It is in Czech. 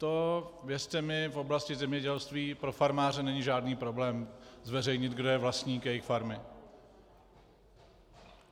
To, věřte mi, v oblasti zemědělství pro farmáře není žádný problém zveřejnit, kdo je vlastník jejich farmy.